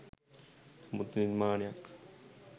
නමුත් නිර්මාණයක්